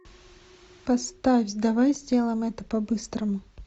поставь давай сделаем это по быстрому